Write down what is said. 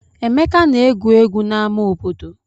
Emeka na-egwu egwu n'ama obodo.